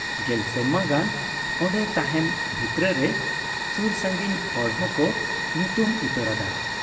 ᱜᱮᱞ ᱥᱮᱨᱢᱟ ᱜᱟᱱ ᱟᱸᱰᱮ ᱛᱟᱦᱮᱸᱱ ᱵᱷᱤᱛᱨᱟᱹ ᱨᱮ ᱥᱩᱨ ᱥᱟᱺᱜᱤᱧ ᱦᱚᱲ ᱦᱚᱸᱠᱚ ᱧᱩᱛᱩᱢ ᱩᱛᱟᱹᱨᱟᱫ ᱟ ᱾